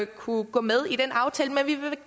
kunne gå med i den aftale man vi vil